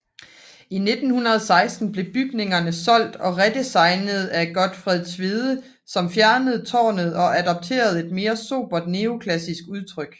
I 1916 blev bygningerne solgt og redesignet af Gotfred Tvede som fjernede tårnet og adapterede et mere sobert neoklassisk udtryk